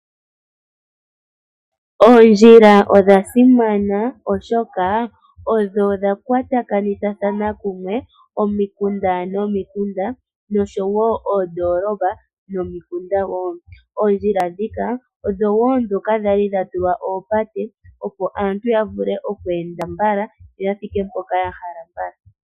Oondjila odha simana molwaashoka odho dha kwatakanitha kumwe oondjila momikunda momikunda nosho wo ondoolopa nomikunda. Oondjila ndhika odho wo ndhoka kwa li dha tulwa oopate, opo aantu ya vule okweenda mbala, yoya thike mpoka ya hala mbala.